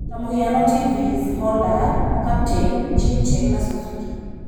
Tamũhiano TVS, Honda, Captain, Jincheng na Suzuki.